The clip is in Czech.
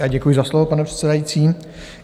Já děkuji za slovo, pane předsedající.